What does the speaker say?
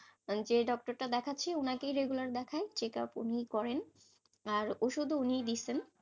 যে doctor টা দেখাচ্ছি, উনাকেই regular দেখাই, check up উনি করেন, আর ওষুধও উনি দিয়েছেন.